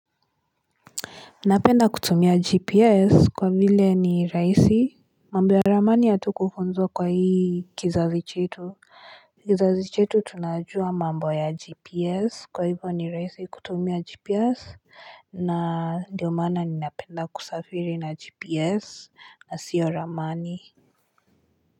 Napenda kutumia gps kwa vile ni raisi mambo ya ramani hatukufunzwa kwa hii kizazi chetu kizazi chetu tunajua mambo ya gps kwa hivo ni raisi kutumia gps na ndiomaana ni napenda kusafiri na gps na sio ramani.